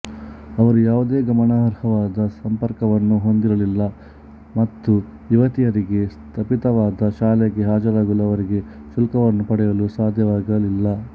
ಅವರು ಯಾವುದೇ ಗಮನಾರ್ಹವಾದ ಸಂಪರ್ಕವನ್ನು ಹೊಂದಿರಲಿಲ್ಲ ಮತ್ತು ಯುವತಿಯರಿಗೆ ಸ್ಥಾಪಿತವಾದ ಶಾಲೆಗೆ ಹಾಜರಾಗಲು ಅವರಿಗೆ ಶುಲ್ಕವನ್ನು ಪಡೆಯಲು ಸಾಧ್ಯವಾಗಲಿಲ್ಲ